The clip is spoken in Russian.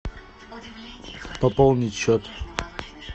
пополнить счет